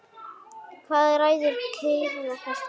Eða ræður kylfa kasti?